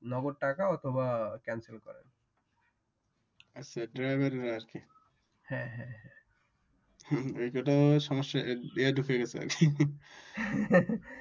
নগদ টাকা অথবা কেনসেল করে আচ্ছা ড্রাইভাররা আরকি হ্যাঁ হ্যাঁ এতোটা ও সমস্যা মানে